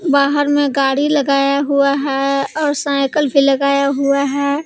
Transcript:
बाहर में गाड़ी लगाया हुआ है और साइकल भी लगाया हुआ है।